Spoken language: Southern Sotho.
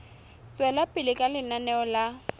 tswela pele ka lenaneo la